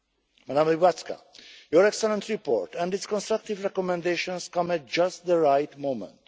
Madam Łybacka your excellent report and its constructive recommendations come at just the right moment.